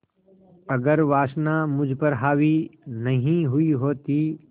अगर वासना मुझ पर हावी नहीं हुई होती